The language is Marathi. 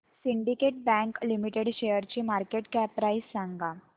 सिंडीकेट बँक लिमिटेड शेअरची मार्केट कॅप प्राइस सांगा